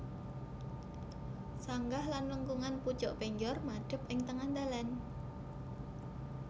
Sanggah lan lengkungan pucuk penjor madhep ing tengah dhalan